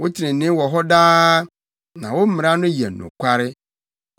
Wo trenee wɔ hɔ daa, na wo mmara no yɛ nokware.